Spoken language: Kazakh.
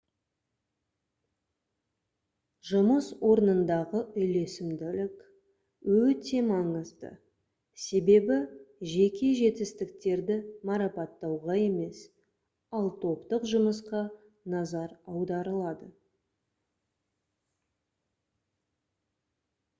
жұмыс орнындағы үйлесімділік өте маңызды себебі жеке жетістіктерді марапаттауға емес ал топтық жұмысқа назар аударылады